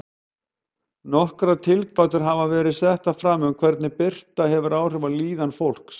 Nokkrar tilgátur hafa verið settar fram um hvernig birta hefur áhrif á líðan fólks.